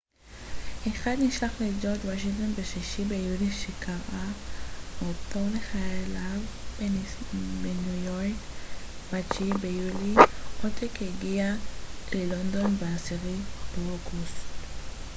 אחד נשלח לג'ורג' וושינגטון ב-6 ביולי שקרא אותו לחייליו בניו יורק ב-9 ביולי עותק הגיע ללונדון ב-10 באוגוסט